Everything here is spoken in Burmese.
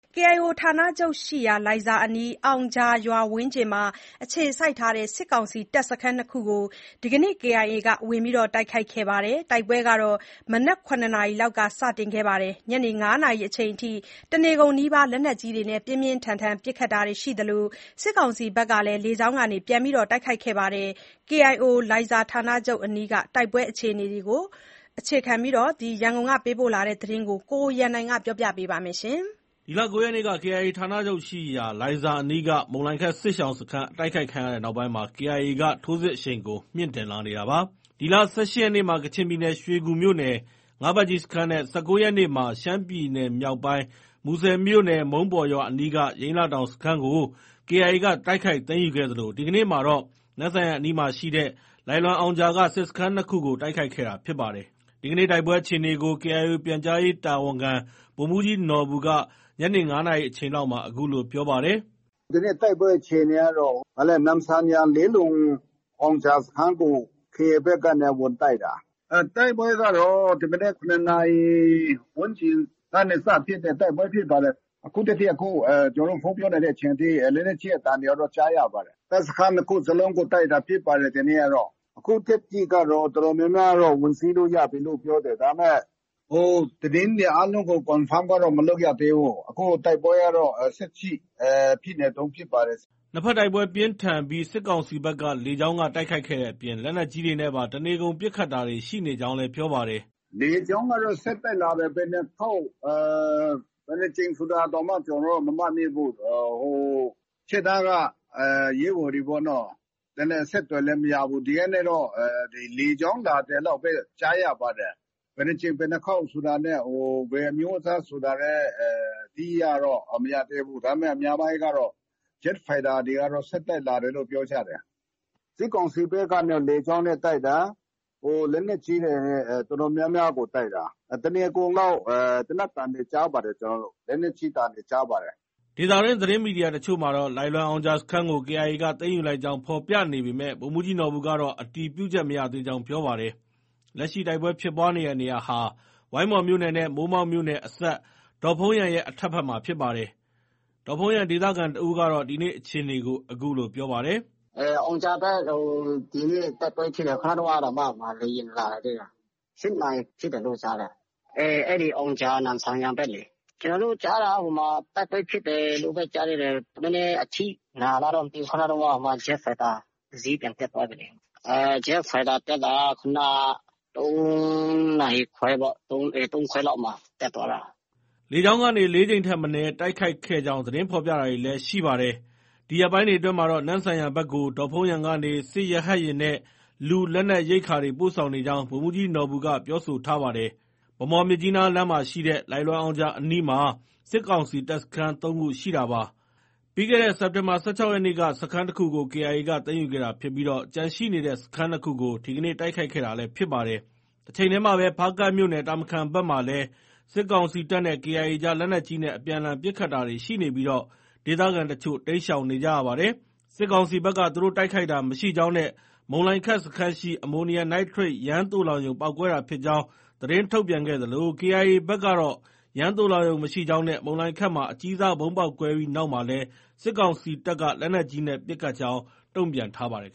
KIO ဌာနချုပ်ရှိရာ လိုင်ဇာအနီး အောင်ဂျာရွာဝန်းကျင်မှာ အခြေစိုက်ထားတဲ့ စစ်ကောင်စီတပ်စခန်း ၂ ခုကို မနေ့ သောကြာနေ့ က KIA က တိုက်ခိုက်ခဲ့ပါတယ်။ တိုက်ပွဲဟာ မနက် ၇ နာရီလောက်က စတင်ခဲ့ပြီး ညနေ ၅နာရီ အချိန်ထိ တနေကုန်နီးပါး လက်နက်ကြီးတွေနဲ့ ပြင်းပြင်းထန်ထန် ပစ်ခတ်တာတွေရှိနေသလို စစ်ကောင်စီ ဘက်ကလည်း လေကြောင်းကနေ ပြန်လည်တိုက်ခိုက်ခဲ့တာပါ။ KIO လိုင်ဇာဌာနချုပ်အနီးက တိုက်ပွဲအခြေအနေကို ကိုရန်နိုင် တင်ပြထားပါတယ်။ ဒီလ ၉ ရက်နေ့က KIA ဌာနချုပ် ရှိရာ လိုင်ဇာအနီးက မုန်လိုင်ခက်စစ်ရှောင်စခန်း အတိုက်ခိုက် ခံခဲ့ရတဲ့ နောက်ပိုင်းမှာ KIA က ထိုးစစ်အရှိန်ကို မြှင့်တင်လာနေတာပါ။ ဒီလ ၁၈ ရက်နေ့မှာ ကချင်ပြည်နယ် ရွှေကူမြို့နယ် ငါးဘတ်ကြီးစခန်းနဲ့ ၁၉ ရက်နေ့မှာ ရှမ်းပြည်နယ်မြောက်ပိုင်း မူဆယ်မြို့နယ် မုန်းပေါ်ရွာအနီးက ယိန်းလတောင်စခန်းကို KIA က တိုက်ခိုက်သိမ်းယူခဲ့သလို ဒီကနေ့မှာတော့ နမ့်ဆန်ယန်အနီးရှိ လိုင်လွမ်အောင်ဂျာက စစ်စခန်း ၂ခုကို တိုက်ခိုက်ခဲ့တာဖြစ်ပါတယ်။ ဒီကနေ့ တိုက်ပွဲအခြေအနေကို KIO ပြန်ကြားရေးတာဝန်ခံ ဗိုလ်မှုးကြီးနော်ဘူက ညနေ ၅နာရီအချိန်လောက်မှာ အခုလို ပြောပါတယ်။ “ ဒီနေ့ တိုက်ပွဲအခြေအနေကတော့ နမ့်ဆန်ယန်၊ လိုင်လွမ်အောင်ဂျာစခန်းကို ဝင်တိုက်တာ။ တိုက်ပွဲကတော့ ဒီမနက် ၇နာရီဝန်ကျင်ကနေ စဖြစ်တဲ့ တိုက်ပွဲဖြစ်ပါတယ်။ အခုထက်ထိ အခု ကျနော်တို့ ဖုန်းပြောနေတဲ့အချိန်အထိ လက်နက်ကြီး အသံတွေကတော့ ကြားရပါတယ်။ တပ်စခန်း ၂ခုစလုံးကို တိုက်တာဖြစ်ပါတယ်။ ဒီနေ့ကတော့။ အခုထက်ထိကတော့ တော်တော်များများကို ဝင်စီးလို့ ရတယ်လို့ ပြောတယ်။ ဒါပေမဲ့ သတင်းတွေအားလုံးကို Confirm ကတော့ မလုပ်ရသေးဘူး။ အခုကတော့ တိုက်ပွဲကတော့ ဆက်ဖြစ်နေတုန်းဖြစ်ပါတယ်။” နှစ်ဘက်တိုက်ပွဲပြင်းထန်ပြီး စစ်ကောင်စီဘက်က လေကြောင်းက တိုက်ခိုက်ခဲ့တဲ့အပြင် လက်နက်ကြီးတွေနဲ့ပါ တနေကုန်ပစ်ခတ်တာတွေ ရှိနေကြောင်းလည်း ပြောပါတယ်။ “ လေကြောင်းကတော့ ဆက်တိုက်လာတယ်။ ဘယ်နှစ်ခေါက် ဘယ်နှစ်ကြိမ်ဆိုတာတောင် ကျနော်တို့ မမှတ်မိဘူး။ ဟို ရှေ့တန်းက ရဲဘော်တွေပေါ့နော ။ အဲဒီနဲ့ အဆက်အသွယ်လည်း မရဘူး။ ဒီကနဲ့တော့ လေကြောင်း လာတယ်လောက်ပဲ ကြားရပါတယ်။ ဘယ်နှစ်ကြိမ် ဘယ်နှစ်ခေါက်ဆိုတာနဲ့ ဘယ်အမျိုးအစား ဆိုတာလည်း အတိအကျတော့ မရသေးဘူး။ အများပိုင်းက ဂျက်ဖိုက်တာတွေကတော့ ဆက်တိုက်လာတယ်လို့ ပြောကြတယ်။ စစ်ကောင်စီဘက်ကနေ လေကြောင်းနဲ့ တိုက်တာ။ ဟို လက်နက်ကြီးတွေနဲ့ တော်တော်များများ ကို တိုက်တာ။ တနေကုန်လောက် သေနတ်သံတွေ ကြားပါတယ် ကျနော်တို့။ လက်နက်ကြီးသံတွေ ကြားပါတယ်။” ဒေသတွင်းသတင်းမီဒီယာအချို့မှာ လိုင်လွမ်အောင်ဂျာစခန်းကို KIA က သိမ်းယူလိုက်ကြောင်း ဖော်ပြနေပေမဲ့ ဗိုလ်မှုးကြီးနော်ဘူကတော့ အတည်ပြုချက် မရသေးကြောင်း ပြောပါတယ်။ လက်ရှိ တိုက်ပွဲဖြစ်ပွားနေတဲ့နေရာဟာ ဝိုင်းမော်မြို့နယ်နဲ့ မိုးမောက်မြို့နယ်အစပ် ဒေါ့ဖုန်းယန်ရဲ့ အထက်ဘက်မှာဖြစ်ပါတယ်။ ဒေါ့ဖုန်းယန်က ဒေသခံတဦးက ဒီနေ့ အခြေအနေကို အခုလို ပြောပါတယ်။ “ အောင်ဂျာဘက် ဒီနေ့ တိုက်ပွဲဖြစ်တယ်။ ခုနတုံးကတောင်မှ လေယာဉ် လာခဲ့သေးတယ်။ ၈နာရီ ဖြစ်တယ်လို့ ကြားတယ်။ အဲဒီ အောင်ဂျာ၊ နမ့်ဆန်ယန်ဘက်လေ။ ကျနော်တို့ ကြားတာက ဟိုမှာ တိုက်ပွဲဖြစ်တယ်လို့ပဲ ကြားသေးတယ်။ နည်းနည်းအထိနာလားတော့ မသိဘူး ခုနတုံးက ဂျက်ဖိုက်တာ တစီးပြန်တက်သွားပြီလေ။ ဂျက်ဖိုက်တာ တက်တာက ခုနက ၃နာရီခွဲပေါ့။ ၃ခွဲလောက်မှာ တက်သွားတာ။” လေကြောင်းကနေ ၄ကြိမ်ထက်မနည်း တိုက်ခိုက်ခဲ့ကြောင်း သတင်းဖော်ပြတာတွေလည်း ရှိနေပါတယ်။ ဒီရက်ပိုင်းတွေအတွင်းမှာတော့ နမ့်ဆန်ယန်ဘက်ကို ဒေါ့ဖုန်းယန်ကနေ စစ်ရဟတ်ယာဉ်နဲ့ လူ လက်နက် ရိက္ခာတွေ ပို့ဆောင်နေကြောင်း ဗိုလ်မှုးကြီးနော်ဘူက ပြောဆိုထားပါတယ်။ ဗန်းမော်-မြစ်ကြီးနားလမ်းရှိ လိုင်လွမ်အောင်ဂျာအနီးမှာ စစ်ကောင်စီတပ်စခန်း ၃ခု ရှိတာပါ။ ပြီးခဲ့တဲ့ စက်တင်ဘာလ ၁၆ရက်နေ့က စခန်း တခုကို KIA က သိမ်းယူခဲ့တာဖြစ်ပြီး ကျန်ရှိနေတဲ့စခန်း ၂ခုကို ဒီကနေ့ တိုက်ခိုက်ခဲ့တာလည်း ဖြစ်ပါတယ်။ တချိန်တည်းမှာပဲ ဖားကန့်မြို့နယ် တာမခန်ဘက်မှာလည်း စစ်ကောင်စီတပ်နဲ့ KIA အကြား လက်နက်ကြီးနဲ့ အပြန်အလှန် ပစ်ခတ်တာတွေ ရှိနေပြီး ဒေသခံ တချို့ တိမ်းရှောင်နေကြရပါတယ်။ စစ်ကောင်စီဘက်က သူတို့တိုက်ခိုက်တာ မရှိကြောင်းနဲ့ မုန်လိုင်ခက် စစ်ရှောင် စခန်းရှိ အမိုနီယမ်နိုက်ထရိတ် သိုလှောင်ရုံပေါက်ကွဲတာဖြစ်ကြောင်း သတင်းထုတ်ပြန်ခဲ့သလို KIA ဘက်ကတော့ ယမ်းသိုလှောင်ရုံမရှိကြောင်းနဲ့ မုန်လိုင်ခက်မှာအကြီးစားဗုံးပေါက်ကွဲပြီးနောက်မှာလည်း စစ်ကောင်စီတပ်က လက်နက်ကြီးနဲ့ ပစ်ခတ်ခဲ့ကြောင်း တုံ့ပြန်ထားပါတယ်